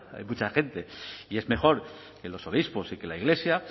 hay mucha gente y es mejor que los obispos y la iglesia